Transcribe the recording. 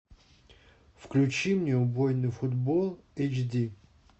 включи мне убойный футбол эйч ди